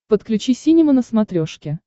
подключи синема на смотрешке